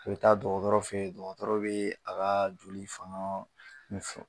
I be taa dɔgɔtɔrɔ fe ye dɔgɔtɔrɔ bee a kaa joli faŋaa min fɔ